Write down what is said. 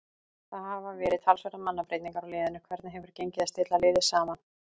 Það hafa verið talsverðar mannabreytingar á liðinu, hvernig hefur gengið að stilla liðið saman?